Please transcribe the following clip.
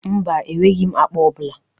Mba, enweghị m akpa ọ bụla.